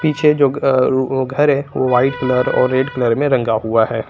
पीछे जो अह वो घर है वो व्हाइट कलर और रेड कलर में रंगा हुआ है।